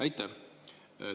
Aitäh!